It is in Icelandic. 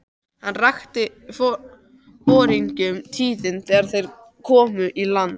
Hann rakti foringjunum tíðindin þegar þeir komu í land.